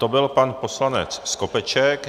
To byl pan poslanec Skopeček.